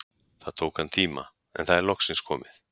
Það tók hann tíma, en það er loksins komið!